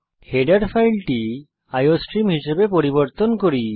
header ফাইলটি iostream হিসাবে পরিবর্তন করি